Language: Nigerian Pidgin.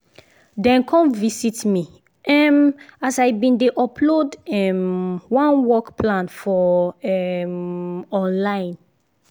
dem come visit me um as i been dey upload um one work plan for um online